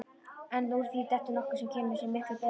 En úr því dettur nokkuð sem kemur sér miklu betur.